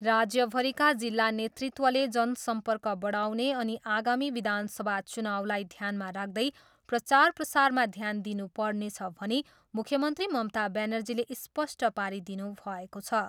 राज्यभरिका जिल्ला नेतृत्वले जन सम्पर्क बढाउने अनि आगामी विधानसभा चुनाउलाई ध्यानमा राख्दै प्रचार प्रसारमा ध्यान दिनु पर्नेछ भनी मुख्यमन्त्री ममता ब्यानर्जीले स्पष्ट पारिदिनुभएको छ।